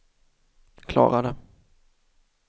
klarade